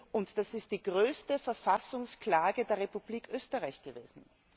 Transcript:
und das ist die größte Verfassungsklage der Republik Österreich gewesen.